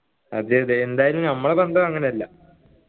അതെയതെ എന്തായാലും ഞമ്മളെ ബന്ധം അങ്ങനെയല്ല